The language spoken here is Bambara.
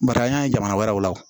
Barisa an y'a ye jamana wɛrɛw la